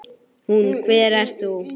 Hún: Hver ert þú?